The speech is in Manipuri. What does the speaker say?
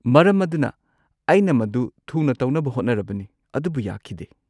ꯃꯔꯝ ꯑꯗꯨꯅ ꯑꯩꯅ ꯃꯗꯨ ꯊꯨꯅ ꯇꯧꯅꯕ ꯍꯣꯠꯅꯔꯕꯅꯤ ꯑꯗꯨꯕꯨ ꯌꯥꯈꯤꯗꯦ꯫